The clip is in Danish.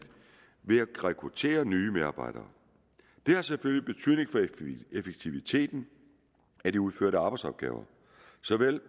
ved at rekruttere nye medarbejdere det har selvfølgelig betydning for effektiviteten af de udførte arbejdsopgaver